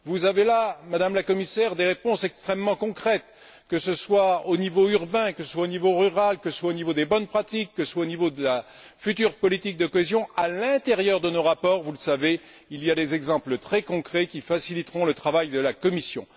Vous avez là, Madame la Commissaire, des réponses extrêmement concrètes, que ce soit au niveau urbain, au niveau rural, au niveau des bonnes pratiques, ou au niveau de la future politique de cohésion, à l'intérieur de nos rapports, vous le savez, il y a des exemples très concrets qui faciliteront le travail de la Commission.